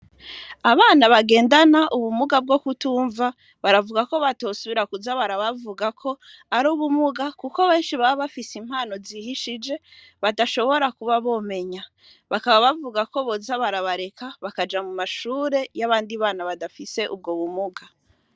Abana bagendana ubumuga bwo kutumva baravuga ko batosubira kuza barabavugako ari ubumuga, kuko benshi baba bafise impano zihishije badashobora kuba bomenya bakaba bavuga ko boza barabareka bakaja mu mashure y'abandi bana badafise ubwo bumuga.